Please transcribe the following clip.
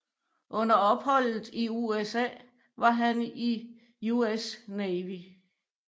Under opholdet i USA var han i US Navy